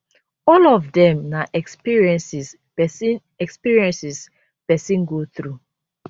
all of dem na experiences pesin experiences pesin go through